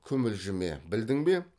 күмілжіме білдің бе